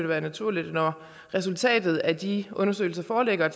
være naturligt når resultatet af de undersøgelser foreligger at